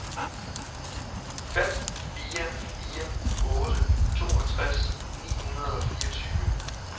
fem fire fire otte toogtres ni hundrede og fireogtyve